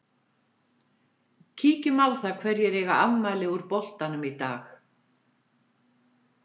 Kíkjum á það hverjir eiga afmæli úr boltanum í dag.